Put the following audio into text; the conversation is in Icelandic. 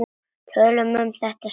Tölum um það seinna.